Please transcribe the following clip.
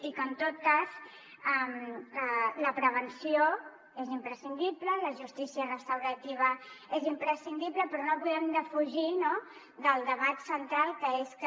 i en tot cas la prevenció és imprescindible la justícia restaurativa és imprescindible però no podem defugir el debat central que és que